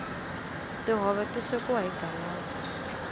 tihove ti swekiwa hi galaza